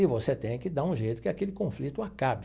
E você tem que dar um jeito que aquele conflito acabe.